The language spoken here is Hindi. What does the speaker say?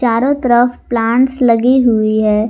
चारों तरफ प्लांट्स लगी हुई है।